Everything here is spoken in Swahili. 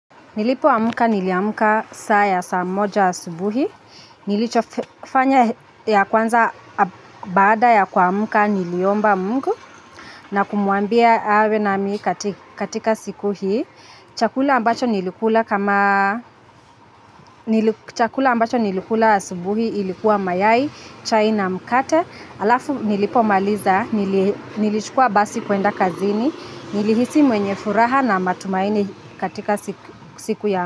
Nilipoamka niliamka saa ya saa moja asubuhi, nilichofanya ya kwanza baada ya kuamka niliomba mungu na kumwambia awe namii katika siku hii. Chakula ambacho nilikula sabuhi ilikuwa mayai, chai na mkate, alafu nilipomaliza, nilichukua basi kuenda kazini, nilihisi mwenye furaha na matumaini katika siku ya.